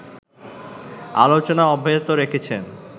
আলোচনা অব্যাহত রেখেছেন।